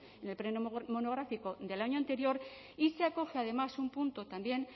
en el pleno monográfico del año anterior y se acoge además un punto también